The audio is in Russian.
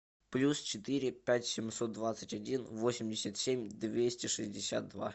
плюс четыре пять семьсот двадцать один восемьдесят семь двести шестьдесят два